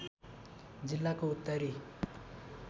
जिल्लाको उत्तरी